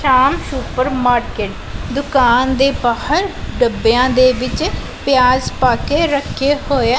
Super market ਦੁਕਾਨ ਦੇ ਬਾਹਰ ਡੱਬਿਆਂ ਦੇ ਵਿੱਚ ਪਿਆਜ ਪਾ ਕੇ ਰੱਖੇ ਹੋਏ ਆ।